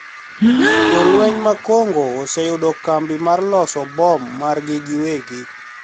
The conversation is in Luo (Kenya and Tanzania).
Jolweny mag Congo oseyudo kambi mar loso bom margi giwegi